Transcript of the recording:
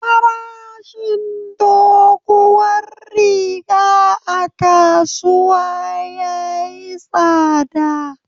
Farashin doguwar riga a kasuwa yayi tsada.